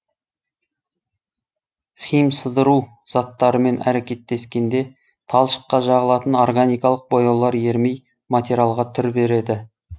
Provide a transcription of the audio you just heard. химсыдыру заттарымен әрекеттескенде талшыққа жағылатын органикалық бояулар ерімей материалға түр береді